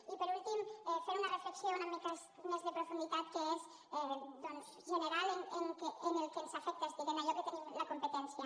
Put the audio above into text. i per últim fer una reflexió una mica amb més de profunditat que és doncs general en el que ens afecta és a dir en allò que en tenim la competència